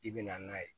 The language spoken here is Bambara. I bɛna n'a ye